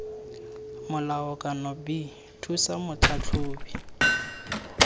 molao kana b thusa motlhatlhobi